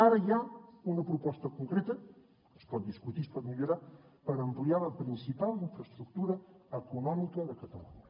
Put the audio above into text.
ara hi ha una proposta concreta es pot discutir es pot millorar per ampliar la principal infraestructura econòmica de catalunya